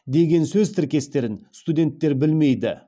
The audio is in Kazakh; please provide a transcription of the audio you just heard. деген сөз тіркестерін студенттер білмейді